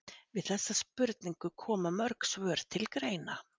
Við þessari spurningu koma mörg svör til greina.